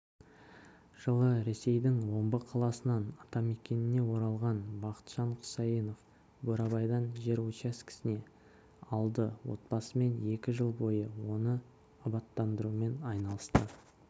жылы ресейдің омбы қаласынан атамекеніне оралған бақытжан құсайынов бурабайдан жер учаскесін алды отбасымен екі жыл бойы оны абаттандырумен айналысты